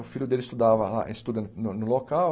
O filho dele estudava lá estuda no local.